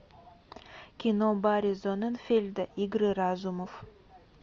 кино барри зонненфельда игры разумов